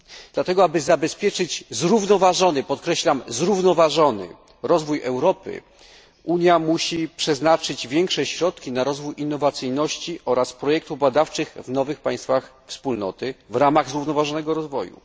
Dlatego, aby zabezpieczyć zrównoważony, podkreślam zrównoważony rozwój Europy, Unia musi przeznaczyć większe środki na rozwój innowacyjności oraz projektów badawczych w nowych państwach Wspólnoty w ramach zrównoważonego rozwoju.